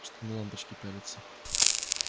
что на лампочки пялиться